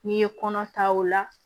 N'i ye kɔnɔ ta o la